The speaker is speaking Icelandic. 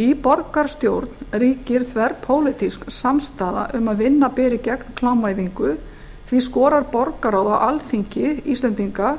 í borgarstjórn ríkir þverpólitísk samstaða um að vinna beri gegn klámvæðingu því skorar borgarráð á alþingi íslendinga